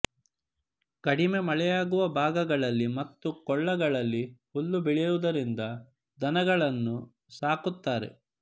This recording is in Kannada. ಕಡಿಮೆ ಮಳೆಯಾಗುವ ಭಾಗಗಳಲ್ಲಿ ಮತ್ತು ಕೊಳ್ಳಗಳಲ್ಲಿ ಹುಲ್ಲು ಬೆಳೆಯುವುದರಿಂದ ದನಗಳನ್ನು ಸಾಕುತ್ತಾರೆ